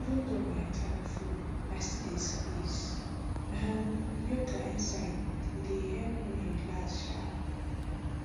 even though my time full i still dey squeeze um yoga inside e dey help me relax um